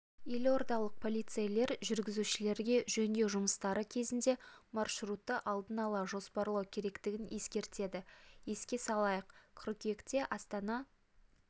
елордалық полицейлер жүргізушілерге жөндеу жұмыстары кезінде маршрутты алдын ала жоспарлау керегін ескертеді еске салайық қыркүйекте астана